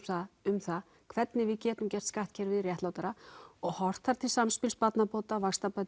um það hvernig við getum gert skattkerfið réttlátara og horft þar til samspils barnabóta